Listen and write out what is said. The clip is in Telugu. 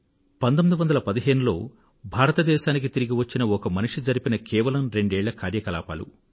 1915 లో భారతదేశానికి తిరిగివచ్చిన ఒక మనిషి జరిపిన కేవలం రెండేళ్ళ కార్యకలాపాలు